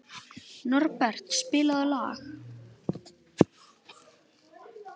Norbert, spilaðu lag.